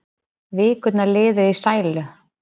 Vikurnar liðu í sælu.